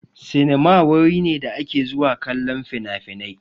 Sinima wuri ne da ake zuwa kallon finafinai.